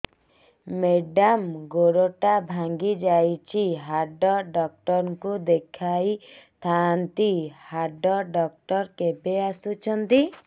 madam ଗୋଡ ଟା ଭାଙ୍ଗି ଯାଇଛି ହାଡ ଡକ୍ଟର ଙ୍କୁ ଦେଖାଇ ଥାଆନ୍ତି ହାଡ ଡକ୍ଟର କେବେ ଆସୁଛନ୍ତି